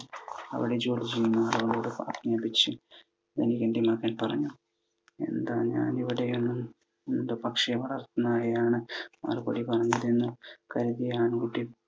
അവിടെ job ചെയ്യുന്ന ആളോട് ധനികൻ്റെ മകൻ പറഞ്ഞു എന്താ ഞാനെവിടെയാണ് എന്ത് പക്ഷിയാണ്‌ നായയാണ് മറുപടി പറഞ്ഞില്ലായെന്നും കരുതിയാണ്